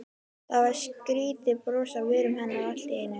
Það var skrýtið bros á vörum hennar allt í einu.